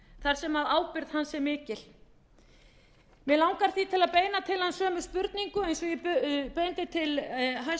þar sem ábyrgð hans er mikil mig langar því til að beina til hans sömu spurningu eins og